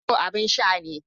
Hero abin sha ne